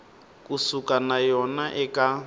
ku suka no ya eka